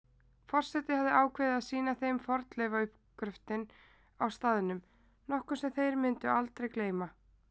Forseti hafði ákveðið að sýna þeim fornleifauppgröftinn á staðnum, nokkuð sem þeir mundu aldrei gleyma.